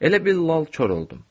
Elə bil lal-kor oldum.